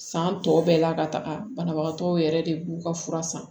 San tɔ bɛɛ la ka taga banabagatɔw yɛrɛ de b'u ka fura san